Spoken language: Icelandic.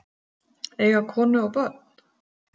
Eiga konu og börn?